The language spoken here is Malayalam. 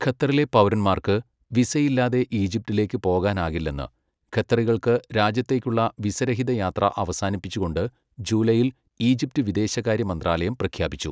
ഖത്തറിലെ പൗരന്മാർക്ക്, വിസയില്ലാതെ ഈജിപ്തിലേക്ക് പോകാനാകില്ലെന്ന്, ഖത്തറികൾക്ക് രാജ്യത്തേക്കുള്ള വിസ രഹിത യാത്ര അവസാനിപ്പിച്ചുകൊണ്ട് ജൂലൈയിൽ, ഈജിപ്ത് വിദേശകാര്യ മന്ത്രാലയം പ്രഖ്യാപിച്ചു.